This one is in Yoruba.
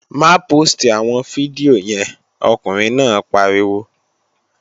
Má póòstì àwọn fídíò yẹn, ọkùnrin náà pariwo!